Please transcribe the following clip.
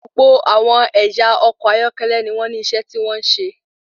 Gbogbo àwọn ẹyà ọkọ̀ ayọ́kẹ́lẹ́ ní wọn ní iṣẹ́ tí wọn n ṣe.